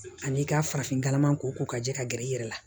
Ani i ka farafinkalama ko ko ka jɛ ka gɛrɛ i yɛrɛ la